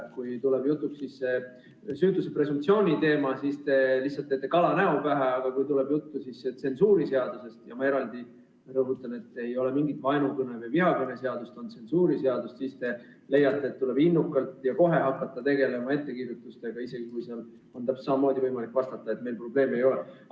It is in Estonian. Kui tuleb jutuks süütuse presumptsiooni teema, siis te lihtsalt teete kalanäo pähe, aga kui tuleb juttu tsensuuriseadusest – ma rõhutan, et ei ole mingit vaenukõne või vihakõne seadust, vaid on tsensuuriseadus –, siis te leiate, et tuleb kohe innukalt hakata tegelema ettekirjutustega, isegi siis, kui on võimalik täpselt samamoodi vastata, et meil probleeme ei ole.